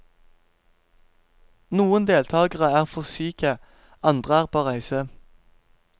Noen deltakere er for syke, andre er på reise.